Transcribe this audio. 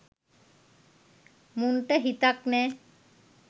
මුන්ට හිතක් නෑ